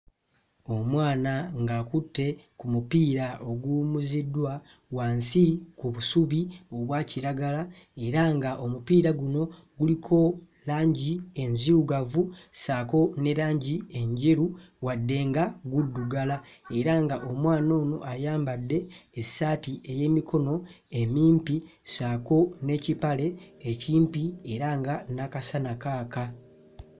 Omwana ng'akutte ku mupiira oguwummuziddwa wansi ku busubi obwa kiragala era ng'omupiira guno guliko langi enzirugavu ssaako ne langi enjeru wadde nga guddugala era ng'omwana ono ayambadde essaati ey'emikono emimpi ssaako n'ekipale ekimpi era nga n'akasana kaaka.